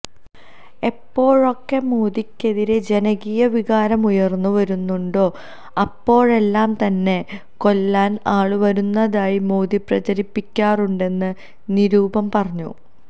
എപ്പോഴൊക്കെ മോദിക്കെതിരെ ജനകീയ വികാരം ഉയർന്നു വരുന്നുണ്ടോ അപ്പോഴെല്ലാം തന്നെ കൊല്ലാൻ ആള് വരുന്നതായി മോദി പ്രചരിപ്പിക്കാറുണ്ടെന്ന് നിരുപം പറഞ്ഞു